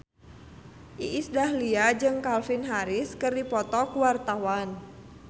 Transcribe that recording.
Iis Dahlia jeung Calvin Harris keur dipoto ku wartawan